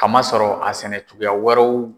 Kamasɔrɔ a sɛnɛ cogoya wɛrɛw